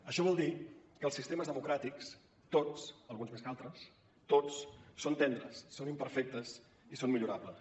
això vol dir que els sistemes democràtics tots alguns més que altres tots són tendres són imperfectes i són millorables